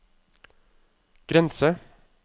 grense